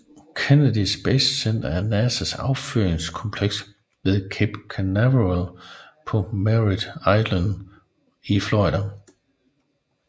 Kennedy Space Center er NASAs affyringskompleks ved Cape Canaveral på Merrit Island i Florida